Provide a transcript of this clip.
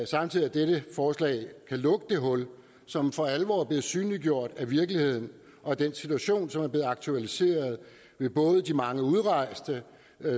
samtidig at dette forslag kan lukke det hul som for alvor er blevet synliggjort af virkeligheden og af den situation som er blevet aktualiseret ved både de mange udrejste